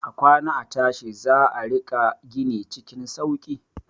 A kwana a tashi za a riƙa gini cikin sauki.